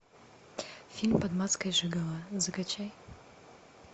фильм под маской жиголо закачай